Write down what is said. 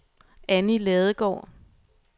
Annie Ladegaard